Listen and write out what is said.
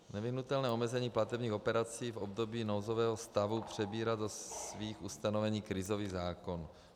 Nevyhnutelné omezení platebních operací v období nouzového stavu přebírá do svých ustanovení krizový zákon.